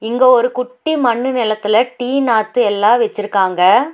இங்க ஒரு குட்டி மண்ணு நெலத்துல டீ நாத்து எல்லா வெச்சிருக்காங்க.